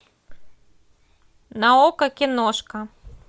на окко киношка